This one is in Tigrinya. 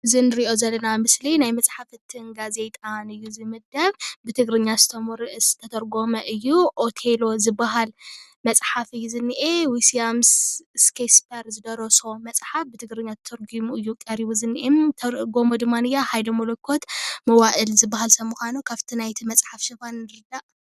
እዚ ንሪኦ ዘለና ምስሊ ናይ መጻሓፍትን ጋዜጣን እዩ ዝምደብ:: ብትግርኛ ዝተተርጎመ እዩ:: ኦቴሎ ዝበሃል መፅሓፍ እዩ:: ዝኒሄ ዊስያምስ ሽክስፒር ዝደርሶ መፅሓፍ ትግርኛ ተተርጉሙ እዩ ቀሪቡ ዝኒሄ ዝተርጎሞ ድማ ሃይለ መለኮት መዋእል ዝበሃል ሰብ ምዃኑ ካብቲ ናይ ሽፋን ንርዳእ።